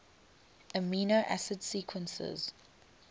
amino acid sequences